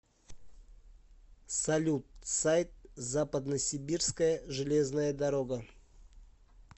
салют сайт западносибирская железная дорога